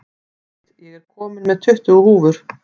Edith, ég kom með tuttugu húfur!